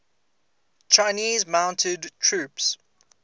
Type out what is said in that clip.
chinese mounted troops